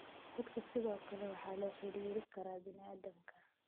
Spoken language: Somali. Kudka sidoo kale waxaa la xiriiri kara bini'aadamka.